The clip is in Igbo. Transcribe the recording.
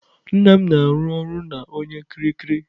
Nna m na-arụ ọrụ na onye kiriki.